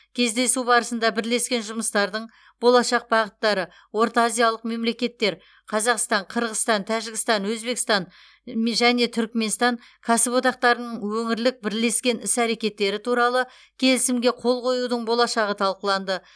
кездесу барысында бірлескен жұмыстардың болашақ бағыттары ортаазиялық мемлекеттер қазақстан қырғызстан тәжікстан өзбекстан м және түркіменстан кәсіподақтарының өңірлік бірлескен іс әрекеттері туралы келісімге қол қоюдың болашағы талқыланды